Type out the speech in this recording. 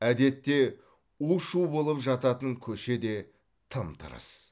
әдетте у шу болып жататын көше де тым тырыс